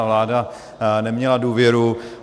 Ta vláda neměla důvěru.